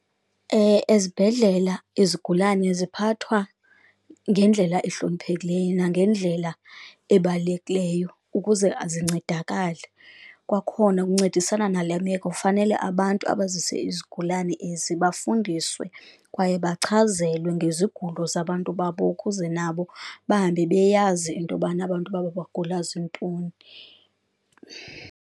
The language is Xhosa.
Ezibhedlela ezigulane ziphathwa ngendlela ehloniphekileyo nangendlela ebalulekileyo ukuze zincedakale, kwakhona ukuncedisana nale meko fanele abantu abazise izigulane ezi bafundiswe kwaye bachazelwe ngezigulo zabantu babo, ukuze nabo bahambe beyazi into yobana abantu babo bagula zintoni.